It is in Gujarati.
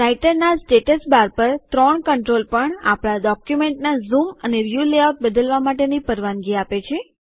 રાઈટરનાં સ્ટેટસબાર પર ત્રણ કન્ટ્રોલ પણ આપણા ડોક્યુમેન્ટનાં ઝૂમ અને વ્યુ લેઆઉટ બદલવા માટેની પરવાનગી આપે છે